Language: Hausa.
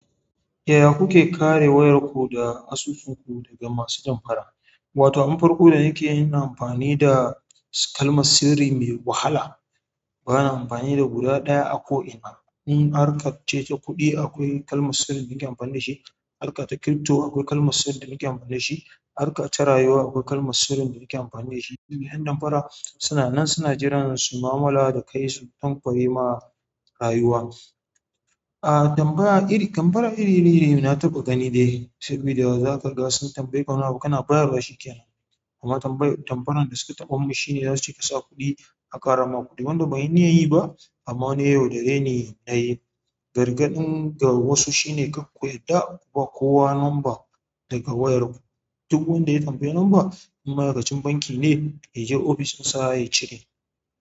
Yaya kuke kare wayarku da asusunku daga masu damfara? Wato abin farko da nake yi ina amfani da kalma sirri mai wahala. Bana amfani da guda ɗaya a ko'ina. In harka ce ta kuɗi akwai kalma sirri da nake amfani da shi, harka ta crypto akwai kalma sirri da nake amfani da shi, harka ta rayuwa akwai kalma sirri da nake amfani da shi. Yan damfara suna nan suna jiran su ma'amala da kai su kwankwaye ma rayuwa. A damfara iri, damfara iri ne na taɓa gani dai sabida zaka sun tambayeka wani abu kana bayarwa shi ke nan amma tambayar, damfaran da suka taɓa mun shine zasu ce ka sa kuɗi a ƙara ma kuɗi wanda banyi niyar yi ba amma wani ya yaudare ne na yi. Gargaɗin ga wasu shine kar ku yarda ku ba kowa lamba daga wayarku. Duk wanda ya tambayi number in ma'aikacin banki ne ya je ofishinsa ya cire.